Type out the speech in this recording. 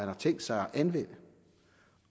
har tænkt sig at anvende